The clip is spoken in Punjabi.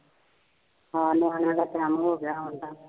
ਹਾਂ ਨਿਆਣਿਆਂ ਦਾ time ਹੋ ਗਿਆ, ਆਉਣ ਦਾ,